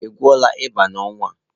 Ị gwọọla ịba n'ọnwa a?